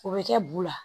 O bɛ kɛ bu la